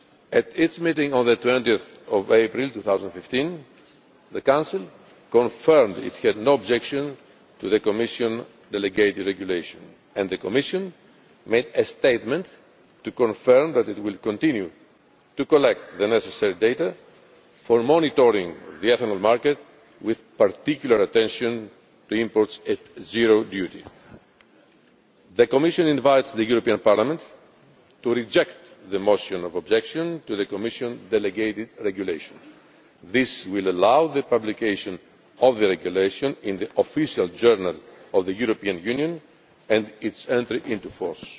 At its meeting of 20 April 2015, the Council confirmed it had no objection to the Commission delegated regulation and the Commission made a statement to confirm that it will continue to collect the necessary data for monitoring the ethanol market, with particular attention to imports at zero duty. The Commission invites the European Parliament to reject the motion of objection to the Commission delegated regulation. This will allow the publication of the regulation in the Official Journal of the European Union and its entry into force.